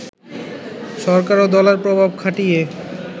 সরকার ও দলের প্রভাব খাটিয়ে